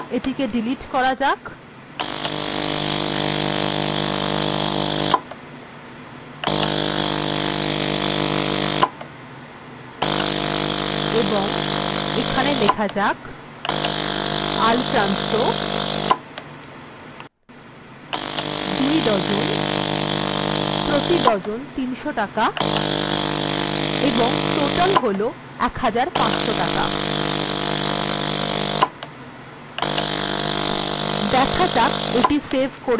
এটিকে ডিলিট্ করা যাক এবং এখানে লেখা যাক আল্ফ্রান্সো ২ ডজন প্রতি ডজন ৩০০ টাকা এবং টোটাল হল ১৫০০ টাকা দেখা যাক এটি সেভ করলে